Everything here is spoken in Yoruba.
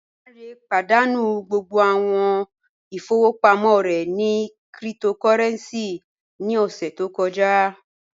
Lánré pádánú gbogbo awọn ìfọwọpamọ rẹ ni kírìtòkòrẹ̀ncì ní ọṣẹ̀ tó kọ̀jà